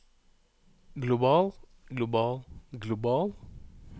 global global global